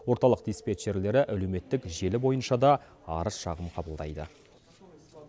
орталық диспетчерлері әлеуметтік желі бойынша да арыз шағым қабылдайды